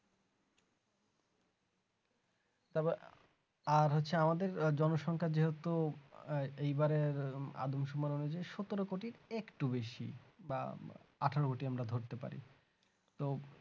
তারপর আর হচ্ছে আমাদের জনসংখ্যা যেহেতু এবারের আদমসংখ্যা অনুযায়ী সতেরো কোটি একটু বেশি বা আঠেরো কোটি আমরা ধরতে পারি তো